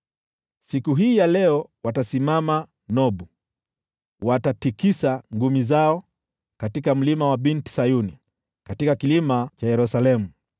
Siku hii ya leo watasimama Nobu; watatikisa ngumi zao kwa mlima wa Binti Sayuni, kwa kilima cha Yerusalemu.